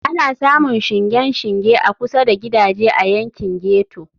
Ana samun shingen shinge a kusa da gidaje a yankin ghetto.